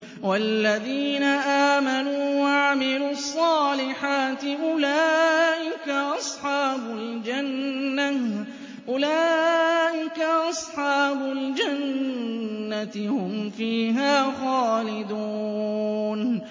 وَالَّذِينَ آمَنُوا وَعَمِلُوا الصَّالِحَاتِ أُولَٰئِكَ أَصْحَابُ الْجَنَّةِ ۖ هُمْ فِيهَا خَالِدُونَ